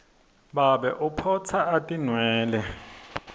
babe uphotsa atinwele